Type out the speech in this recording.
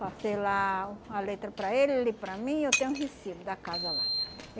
passei lá a letra para ele ele para mim, eu tenho o recibo da casa lá.